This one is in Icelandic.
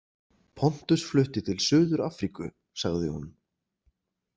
Pontus flutti til Suður- Afríku, sagði hún.